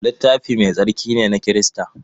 Littafi Mai Tsarki ne na Kirista.